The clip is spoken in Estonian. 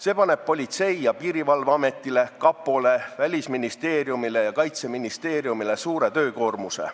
See paneb Politsei- ja Piirivalveametile, kapole, Välisministeeriumile ja Kaitseministeeriumile suure koormuse.